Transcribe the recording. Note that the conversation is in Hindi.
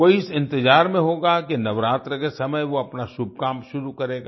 कोई इस इंतजार में होगा कि नवरात्र के समय वो अपना शुभ काम शुरू करेगा